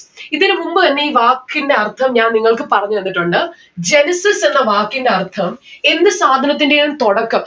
ഇതിന് മുമ്പ് തന്നെ ഈ വാക്കിന്റെ അർഥം ഞാൻ നിങ്ങൾക്ക് പറഞ്ഞന്നിട്ടുണ്ട്. genesis എന്ന വാക്കിന്റെ അർഥം എന്ത് സാധനത്തിന്റെയും തുടക്കം